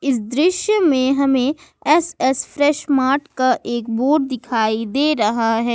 इस दृश्य में हमें एस एस फ्रेश मार्ट का एक बोर्ड दिखाई दे रहा है।